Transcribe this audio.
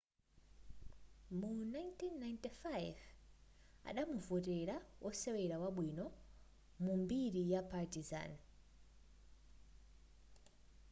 mu 1995 adamuvotera wosewera wabwino mu mbiri ya partizan